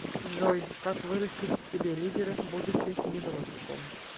джой как вырастить в себе лидера будучи невротиком